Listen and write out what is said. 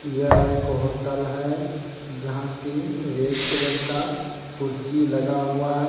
यह एक होटल है जहां की रेड कलर का कुर्सी लगा हुआ है।